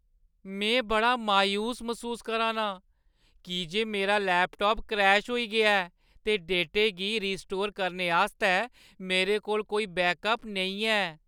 में बड़ी मायूसी मसूस करा ना आं की जे मेरा लैपटाप क्रैश होई गेआ ऐ, ते डेटे गी रीस्टोर करने आस्तै मेरे कोल कोई बैकअप नेईं है।